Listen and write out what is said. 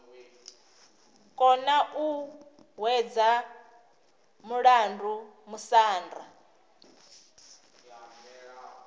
kona u hwedza mulandu musanda